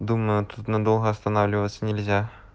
думаю тут надолго останавливаться нельзя